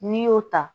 N'i y'o ta